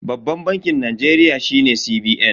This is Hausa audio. Babban bankin Najeriya shine CBN.